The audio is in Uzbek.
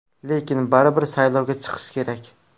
Lekin baribir saylovga chiqish kerak.